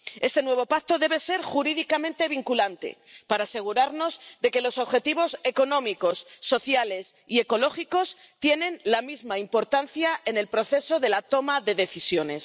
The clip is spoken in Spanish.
Este nuevo pacto debe ser jurídicamente vinculante, para asegurarnos de que los objetivos económicos, sociales y ecológicos tienen la misma importancia en el proceso de la toma de decisiones.